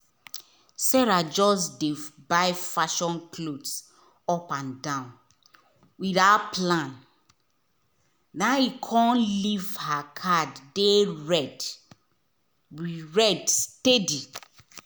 sarah just dey buy fashion clothes up and down without plan e come leave her card dey red red steady.